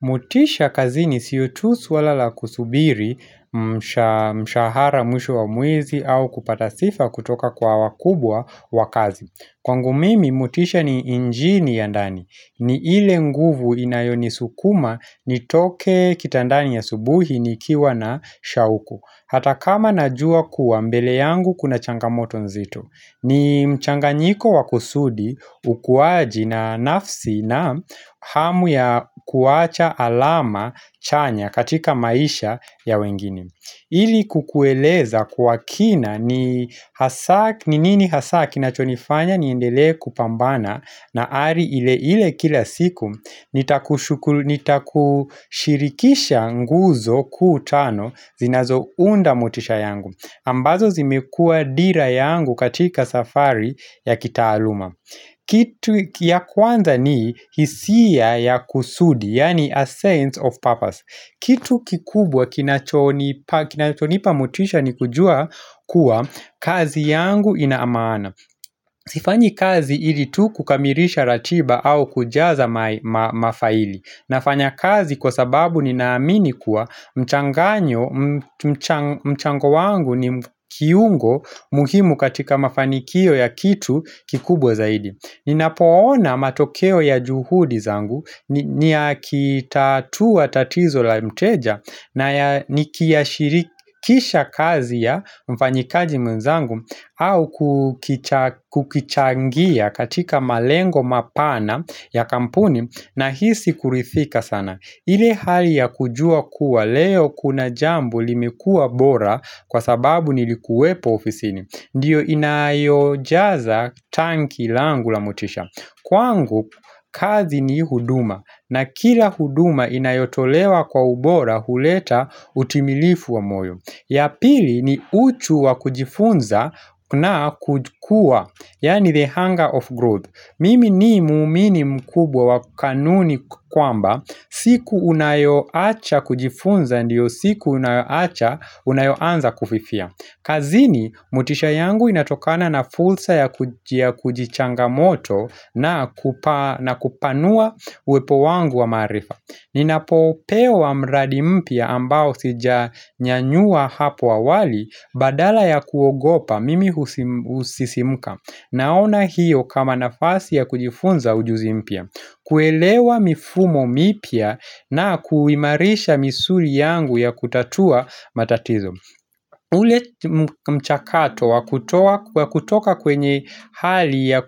Motisha kazini sio tu swala la kusubiri mshahara mwisho wa mwezi au kupata sifa kutoka kwa wakubwa wa kazi. Kwangu mimi, motisha ni injini ya ndani. Ni ile nguvu inayonisukuma nitoke kitandani asubuhi nikiwa na shauku. Hata kama najua kuwa mbele yangu kuna changamoto nzito. Ni mchanganyiko wa kusudi, ukuwaji na nafsi na hamu ya kuwacha alama chanya katika maisha ya wengini. Ili kukueleza kwa kina ni hasa, ni nini hasa kinachonifanya niendele kupambana na hali ile ile kila siku, nitakushirikisha nguzo kuu tano zinazo unda motisha yangu. Ambazo zimekuwa dira yangu katika safari ya kitaaluma. Kitu ya kwanza ni hisia ya kusudi Yaani a sense of purpose Kitu kikubwa kinachonipa kinachonipa motisha ni kujua kuwa kazi yangu ina maana. Sifanyi kazi ili tu kukamilisha ratiba au kujaza mafaili nafanya kazi kwa sababu ninaamini kuwa mchanganyo mchango wangu ni kiungo muhimu katika mafanikio ya kitu kikubwa zaidi ninapoona matokeo ya juhudi zangu ni akitatua tatizo la mteja na nikiashirikisha kazi ya mfanyikaji mwezangu au kukichangia katika malengo mapana ya kampuni nahisi kurithika sana ile hali ya kujua kuwa leo kuna jambo limekuwa bora kwa sababu nilikuwepo ofisini Ndiyo inayojaza tanki langu la motisha. Kwangu kazi ni huduma na kila huduma inayotolewa kwa ubora huleta utimilifu wa moyo ya pili ni uchu wa kujifunza na kukuwa, yaani the hunger of growth. Mimi ni muumini mkubwa wa kanuni kwamba, siku unayoacha kujifunza ndiyo siku unayoacha unayoanza kufifia. Kazini motisha yangu inatokana na fursa ya kujichanga moto na na kupanua uwepo wangu wa maarifa Ninapo pewa mradi mpya ambao sijanyanyua hapo awali badala ya kuogopa mimi husisimuka. Naona hiyo kama nafasi ya kujifunza ujuzi mpya kuelewa mifumo mipya na kuimarisha misuli yangu ya kutatua matatizo ule mchakato wa kutoa kutoka kwenye hali ya